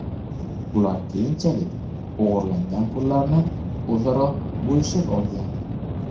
Ular keyinchalik o‘g‘irlangan pullarni o‘zaro bo‘lishib olgan.